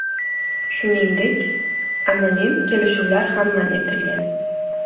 Shuningdek, anonim kelishuvlar ham man etilgan.